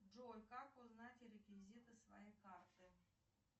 джой как узнать реквизиты своей карты